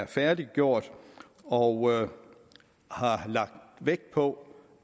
færdiggjort og vi har lagt vægt på